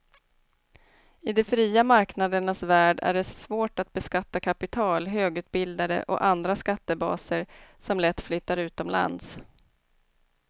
I de fria marknadernas värld är det svårt att beskatta kapital, högutbildade och andra skattebaser som lätt flyttar utomlands.